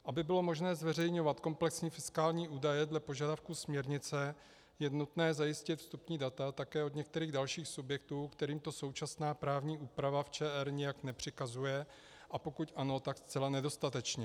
Aby bylo možné zveřejňovat komplexní fiskální údaje dle požadavku směrnice, je nutné zajistit vstupní data také od některých dalších subjektů, kterým to současná právní úprava v ČR nijak nepřikazuje, a pokud ano, tak zcela nedostatečně.